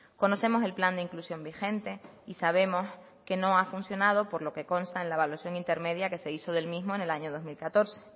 conocemos el plan de inclusión vigente y sabemos que no ha funcionado por lo que consta en la evaluación intermedia que se hizo del mismo en el año dos mil catorce